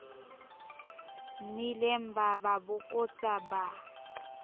nnileng ba ba bokotsa ba